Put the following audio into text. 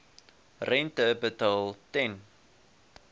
rente betaal ten